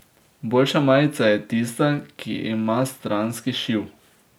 Boljša majica je tista, ki ima stranski šiv.